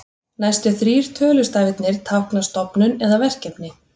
Næstu þrír tölustafirnir tákna stofnun eða verkefni.